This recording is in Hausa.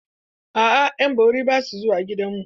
A'a, yan bari basu zuwa gidanmu.